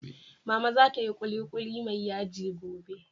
Mama za ta yi kulikuli mai yaji gobe